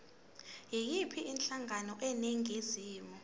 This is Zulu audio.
yiyiphi inhlangano eningizimu